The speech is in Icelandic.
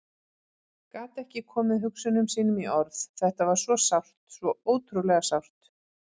Gat ekki komið hugsunum sínum í orð, þetta var svo sárt, svo ótrúlega sárt.